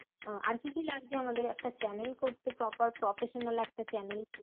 আর কি কি লাগছে আমাদের channel করতে? proper professional একটা channel